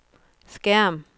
skærm